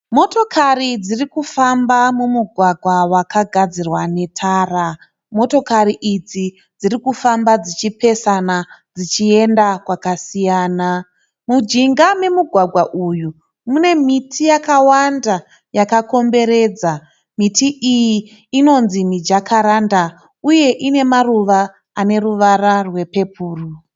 Motokati dzirikufamba mumugwagwa wakagadzirwa netara. Motokari idzi dzirikufamba dzichipesana dzichienda kwakasiyana. Mujinga memugwagwa uyu mune miti yakawanda yakakomberedza. Miti iyi inonzi mijakaranda uye ine maruva ane ruvara rwepepuro.